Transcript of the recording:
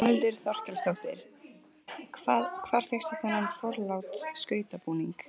Þórhildur Þorkelsdóttir: Hvað, hvar fékkstu þennan forláta skrautbúning?